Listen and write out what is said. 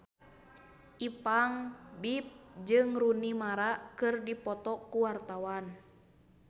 Ipank BIP jeung Rooney Mara keur dipoto ku wartawan